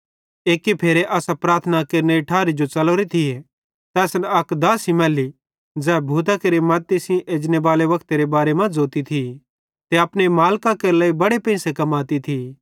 एक्की फेरे असां प्रार्थना केरनेरी ठारी जो च़लोरे थिये त असन अक दासी मैल्ली ज़ै भूतां केरे मद्दती सेइं एजनेबाले वक्तेरे बारे मां ज़ोती थी ते अपने मालिकां केरे लेइ बड़े पेंइसे कमाती थी